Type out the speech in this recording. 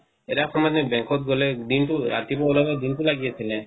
এটা সময়ত ব্যাংকত গ'লে দিনটো ৰাতিপোৱা উলাৱ দিনটো লাগি অছিলে